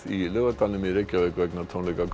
í Laugardalnum í Reykjavík vegna tónleika